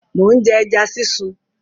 Mò ń jẹ ẹja sísun.